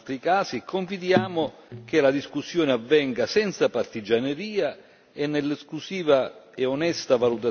Confidiamo che la discussione avvenga senza partigianeria e nell'esclusiva e onesta valutazione dei fatti.